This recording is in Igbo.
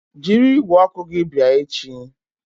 Jiri igwe okwu gị bịa echi!